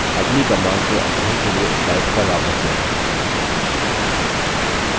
अगली command के अध्ययन के लिए slides पर वापस जाएँ